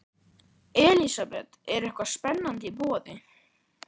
Elísabet, er eitthvað spennandi í boði?